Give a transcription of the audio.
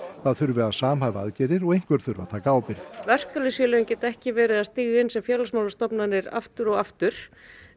það þurfi að samhæfa aðgerðir og einhver þurfi að taka ábyrgð á verkalýðsfélögin geta ekki verið stíga inn sem félagsmálastofnanir aftur og aftur